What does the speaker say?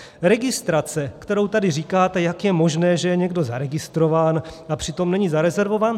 Registrace, kterou tady říkáte, jak je možné, že je někdo zaregistrován, a přitom není zarezervován.